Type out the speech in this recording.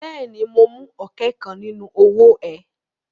Bẹ́ẹ̀ ni, mo mú ọ̀kẹ́ kan nínú owó ẹ.